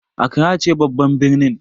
Accra ce babban birnin.